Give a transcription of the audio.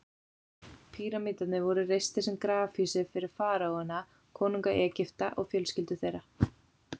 Píramídarnir voru reistir sem grafhýsi fyrir faraóana, konunga Egypta, og fjölskyldur þeirra.